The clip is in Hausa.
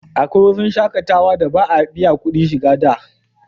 Akwai wurin shakatawa da ba a biya kudin shiga da